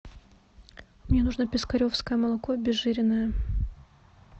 мне нужно пискаревское молоко обезжиренное